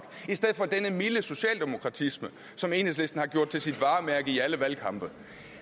i stedet for denne milde socialdemokratisme som enhedslisten har gjort til sit varemærke i alle valgkampe